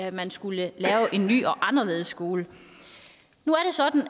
at man skulle lave en ny og anderledes skole nu